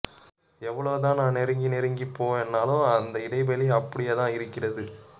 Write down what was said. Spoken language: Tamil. எவ்வளவு தான் நான் நெருங்கி நெருங்கிப்போனாலும் அந்த இடைவெளி அப்படியே தான் இருக்கிறது